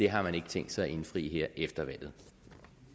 har man ikke tænkt sig at indfri efter valget